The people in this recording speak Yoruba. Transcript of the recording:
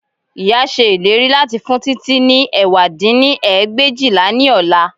Ìyá ṣe ìlérí láti fún Títí ní ẹ̀wá dín ní ẹgbẹ̀éjìlá ní ọ̀la